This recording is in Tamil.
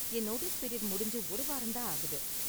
என் நோட்டீஸ் பீரியட் முடிஞ்சு ஒரு வாரம் தான் ஆகுது.